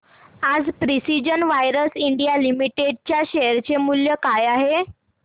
आज precision wires India limited च्या share चे मूल्य काय आहे